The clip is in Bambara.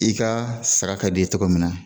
I ka sara ka d'i ye cogo min na